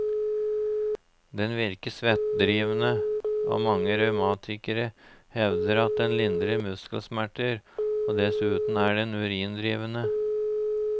Den virker svettedrivende, og mange reumatikere hevder at den lindrer muskelsmerter, dessuten er den urindrivende.